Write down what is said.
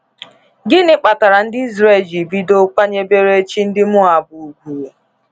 Gịnị kpatara ndị Israel jiri bido kwanyebere chi ndị Moab ùgwù?